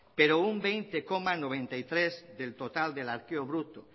pero un veinte coma noventa y tres por ciento del total del arqueo bruto